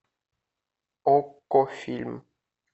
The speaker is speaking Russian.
окко фильм